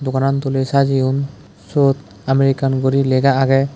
goran dole sajeyoun sot america gori lega age.